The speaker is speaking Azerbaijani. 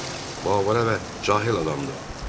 Bu avara və cahil adamdır.